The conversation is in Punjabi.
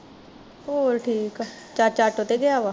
ਹੋਰ ਠੀਕ ਆ ਚਾਚਾ ਆਟੋ ਤੇ ਗਿਆ ਵਾ